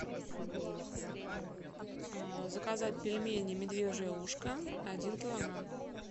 заказать пельмени медвежье ушко один килограмм